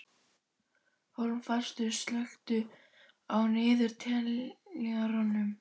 Hólmfastur, slökktu á niðurteljaranum.